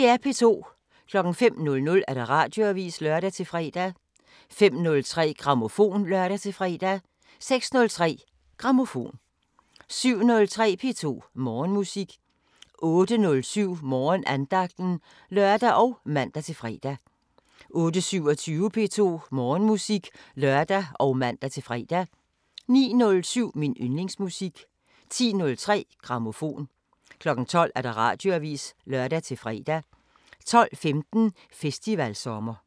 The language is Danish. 05:00: Radioavisen (lør-fre) 05:03: Grammofon (lør-fre) 06:03: Grammofon 07:03: P2 Morgenmusik 08:07: Morgenandagten (lør og man-fre) 08:27: P2 Morgenmusik (lør og man-fre) 09:07: Min yndlingsmusik 10:03: Grammofon 12:00: Radioavisen (lør-fre) 12:15: Festivalsommer